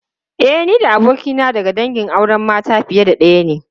E, ni da abokina daga dangin auren mata fiye da daya ne.